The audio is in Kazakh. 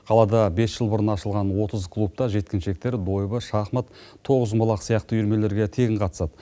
қалада бес жыл бұрын ашылған отыз клубта жеткіншектер дойбы шахмат тоғызқұмалақ сияқты үйірмелерге тегін қатысады